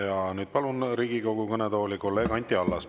Ja nüüd palun Riigikogu kõnetooli kolleeg Anti Allase.